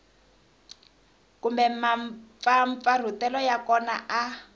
kumbe mampfampfarhutelo ya kona a